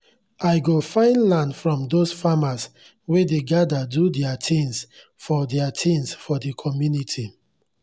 i go find land from those farmers wey dey gather do their things for their things for the comunity